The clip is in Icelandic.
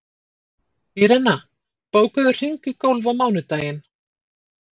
Írena, bókaðu hring í golf á mánudaginn.